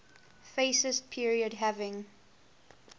fascist period having